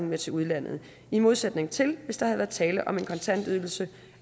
med til udlandet i modsætning til hvis der havde været tale om en kontantydelse